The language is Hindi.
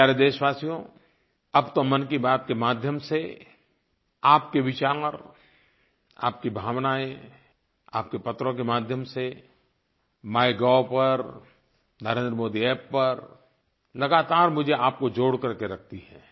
मेरे प्यारे देशवासियो अब तो मन की बात के माध्यम से आपके विचार आपकी भावनायें आपके पत्रों के माध्यम से माइगोव पर NarendraModiApp पर लगातार मुझे आपको जोड़ करके रखती हैं